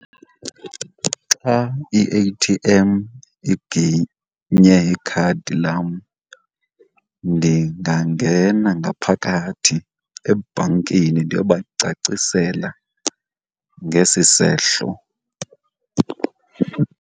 Xa i-A_T_M iginye ikhadi lam ndingangena ngaphakathi ebhankini ndiyobacacisela ngesi sehlo.